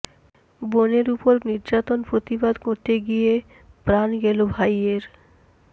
বোনের ওপর নির্যাতন প্রতিবাদ করতে গিয়ে প্রাণ গেল ভাইয়ের